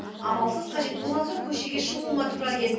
амалсыз қажет болған соң көшеге шығуыма тура келді